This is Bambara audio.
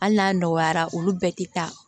Hali n'a nɔgɔyara olu bɛɛ te taa